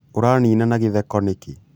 ũranina na githeko nĩkĩ?